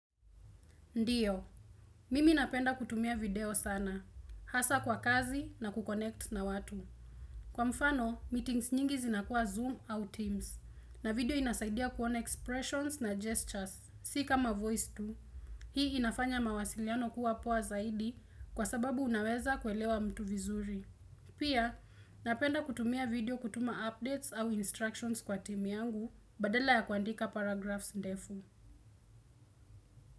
Ndiyo, mimi napenda kutumia video sana, hasa kwa kazi na kuconnect na watu. Kwa mfano, meetings nyingi zinakuwa Zoom au Teams, na video inasaidia kuona expressions na gestures, si kama Voice mbili. Hii inafanya mawasiliano kuwa poa zaidi kwa sababu unaweza kuelewa mtu vizuri. Pia, napenda kutumia video kutuma updates au instructions kwa team yangu, badala ya kuandika paragraphs ndefu.